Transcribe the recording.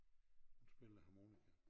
Hun spiller harmonika